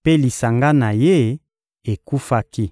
mpe lisanga na ye ekufaki.